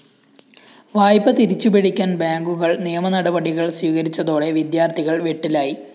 വായ്പ തിരിച്ചുപിടിക്കാന്‍ ബാങ്കുകള്‍ നിയമനടപടികള്‍ സ്വീകരിച്ചതോടെ വിദ്യാര്‍ത്ഥികള്‍ വെട്ടിലായി